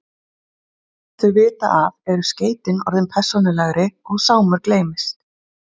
En áður en þau vita af eru skeytin orðin persónulegri og Sámur gleymist.